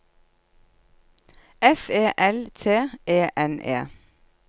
F E L T E N E